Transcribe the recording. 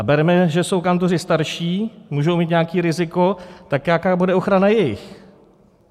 A berme, že jsou kantoři starší, můžou mít nějaké riziko, tak jaká bude ochrana jejich?